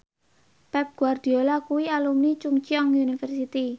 Pep Guardiola kuwi alumni Chungceong University